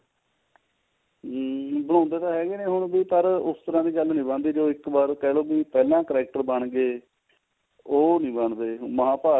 ਹਮ ਬਣਾਉਂਦੇ ਤਾਂ ਹੈਗੇ ਨੇ ਹੁਣ ਵੀ ਪਰ ਉਸ ਤਰ੍ਹਾਂ ਦੀ ਗੱਲ ਨੀ ਬਣਦੀ ਵੀ ਜੋ ਇੱਕ ਵਾਰ ਕਿਹਲੋ ਵੀ ਪਹਿਲਾਂ character ਬਣ ਲੈ ਉਹ ਨੀ ਬਣਦੇ ਮਹਾਂਭਾਰਤ